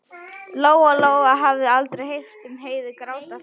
Lóa-Lóa hafði aldrei heyrt Heiðu gráta fyrr.